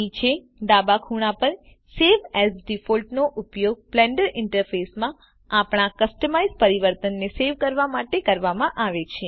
નીચે ડાબા ખૂણા પર સવે એએસ ડિફોલ્ટ નો ઉપયોગ બ્લેન્ડર ઇન્ટરફેસ માં આપણાં કસ્ટમાઇઝ્ પરિવર્તનને સેવ કરવા માટે કરવામાં આવે છે